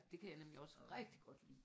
Det kan jeg nemlig også rigtig godt lide